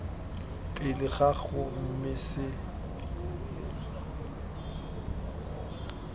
pele ga gago mme se